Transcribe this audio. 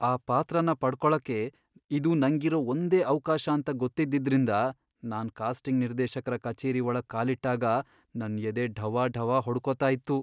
ಆ ಪಾತ್ರನ ಪಡ್ಕೊಳಕ್ಕೆ ಇದು ನಂಗಿರೋ ಒಂದೇ ಅವ್ಕಾಶ ಅಂತ ಗೊತ್ತಿದ್ದಿದ್ರಿಂದ ನಾನ್ ಕಾಸ್ಟಿಂಗ್ ನಿರ್ದೇಶಕ್ರ ಕಚೇರಿ ಒಳಗ್ ಕಾಲಿಟ್ಟಾಗ ನನ್ ಎದೆ ಢವಢವ ಹೊಡ್ಕೊತಾ ಇತ್ತು.